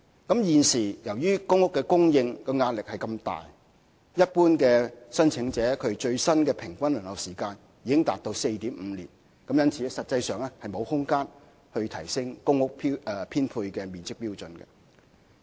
由於現時公屋供應的壓力如此大，一般申請者的最新平均輪候時間已達 4.5 年，實際上已沒有提升公屋編配面積標準的空間。